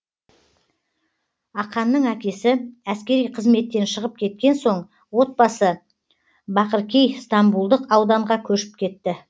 аканның әкесі әскери қызметтен шығып кеткен соң отбасы бакыркей стамбулдық ауданға көшіп кетті